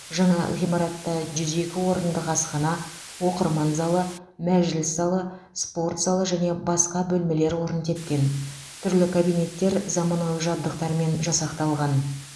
жаңа ғимаратта жүз екі орындық асхана оқырман залы мәжіліс залы спорт залы және басқа бөлмелер орын тепкен түрлі кабинеттер заманауи жабдықтармен жасақталған